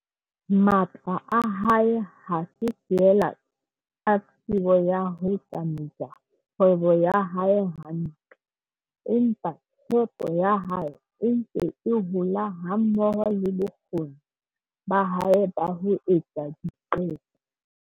Matla a hae ha se feela a tsebo ya ho tsamaisa kgwebo ya hae hantle, empa tshepo ya hae e ntse e hola hammoho le bokgoni ba hae ba ho etsa diqeto.